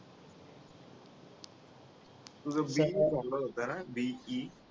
तुझं BE झालं होतं ना BE